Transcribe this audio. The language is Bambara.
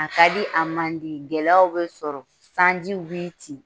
A ka di a man di, gɛlɛya b'i sɔrɔ sanjiw b'i ci